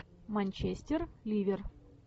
манчестер ливер